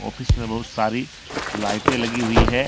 Office में बहुत सारी लाइटें लगी हुई है।